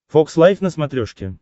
фокс лайф на смотрешке